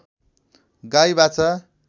गाई बाछा